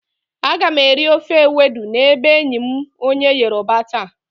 Aga m eri ofe ewedu n'ebe enyi m onye yoroba taa.